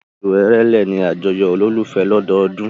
Oṣù Èrèlé ni àyájọ́ olólùfẹ́ lọ́dọọdún.